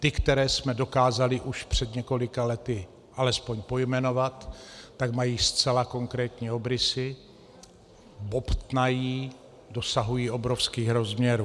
Ty, které jsme dokázali už před několika lety alespoň pojmenovat, tak mají zcela konkrétní obrysy, bobtnají, dosahují obrovských rozměrů.